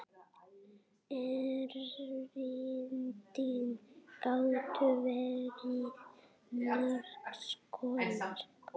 Erindin gátu verið margs konar.